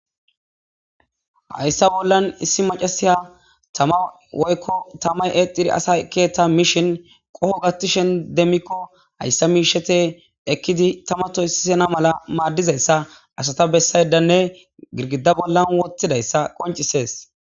Hayssa bollan issi macasiya tama woykko tamay eexiri asa keeta mishin qoho gattishen demmikko hayssa miishete ekkidi tamatoysisena mala maaddizayssa asata bessaydanne girgida bollan wottidayssa qoncisees.